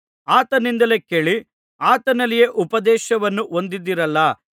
ಆತನಿಂದಲೇ ಕೇಳಿ ಆತನಲ್ಲಿಯೇ ಉಪದೇಶವನ್ನು ಹೊಂದಿದ್ದೀರಲ್ಲಾ